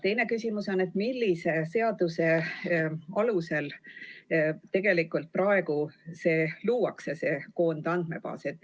Teine küsimus on, millise seaduse alusel praegu see koondandmebaas luuakse.